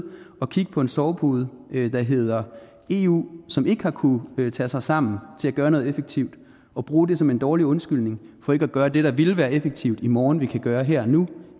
og kigge på en sovepude der hedder eu og som ikke har kunnet tage sig sammen til at gøre noget effektivt og bruge det som en dårlig undskyldning for ikke at gøre det der ville være effektivt i morgen det vi kan gøre her og nu